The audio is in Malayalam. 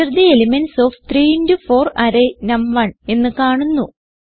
Enter the elements of 3 into 4 array നം1 എന്ന് കാണുന്നു